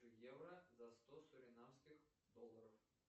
евро за сто суринамских долларов